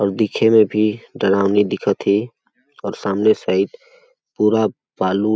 और दिखे में भी डरावनी दिखत है अउ सामने साइड पूरा बालू --